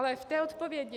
Ale k té odpovědi.